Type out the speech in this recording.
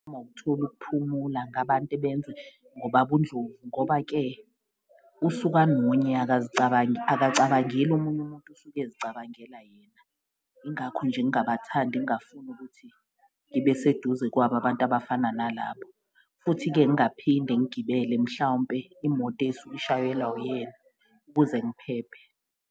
Mawuk'tholi ukuphumula ngabantu ebenze ngobab' uNdlovu ngoba-ke usuka anonya, akacabangeli omunye umuntu usuke ezicabangela yena, ingakho nje ngabathandi ngingafuni ukuthi ngibe seduze kwabo abantu abafana nalabo. Futhi-ke ngaphinde ngigibele mhlawumpe imoto esuke ishayelwa uyena ukuze ngiphephe.